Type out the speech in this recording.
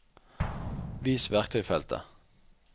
vis verktøysfeltet